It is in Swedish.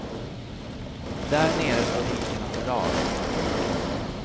Där nere står hinkarna på rad.